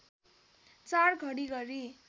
४ घडी गरी